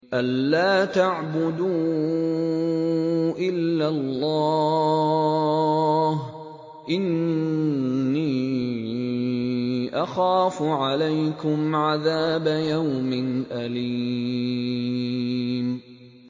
أَن لَّا تَعْبُدُوا إِلَّا اللَّهَ ۖ إِنِّي أَخَافُ عَلَيْكُمْ عَذَابَ يَوْمٍ أَلِيمٍ